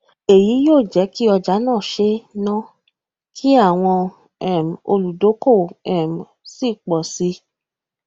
eyi yio jeki ọjà na ṣe ń ná kí àwọn um oludokowo um sì pò sí